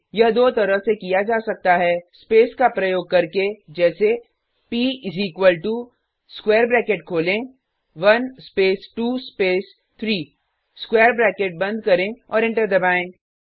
यह दो तरह से किया जा सकता है स्पेस का प्रयोग करके जैसे p is equal to square bracket खोलें 1 स्पेस 2 स्पेस 3 स्क्वायर ब्रैकेट बंद करें और एंटर दबाएँ